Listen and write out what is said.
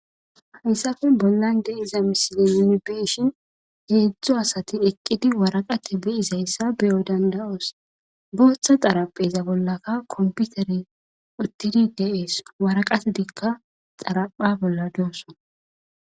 hayssafe bollan de iza misili inibeshin heedzdzo asatin eqqidi waraqate be izayssa beyo danda7oos booththa xarapheza bollaka komputere uttidi deees waraqate dikka xarapha bolla doosso